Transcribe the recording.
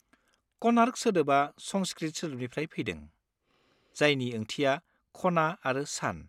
क'नार्क' सोदोबा संस्कृत सोदोबनिफ्राय फैदों, जायनि ओंथिया खना आरो सान।